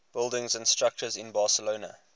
buildings and structures in barcelona